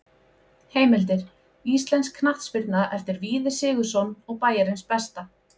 Heimildir: Íslensk knattspyrna eftir Víði Sigurðsson og Bæjarins besta.